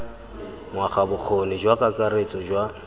ngwaga bokgoni jwa kakaretso jwa